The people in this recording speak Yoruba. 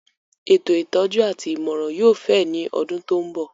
Ètò ìtọ́jú àti ìmọ̀ràn yóò fẹ̀ ní ọdún tó ń bọ̀